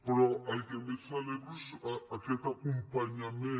però el que més celebro és aquest acompanyament